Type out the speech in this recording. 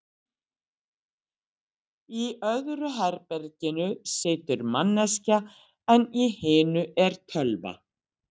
Í öðru herberginu situr manneskja, en í hinu er tölva.